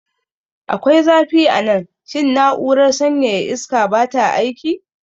Akwai zafi a nan. Shin na'urar sanyaya iska ba ta aiki?